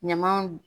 Ɲamanw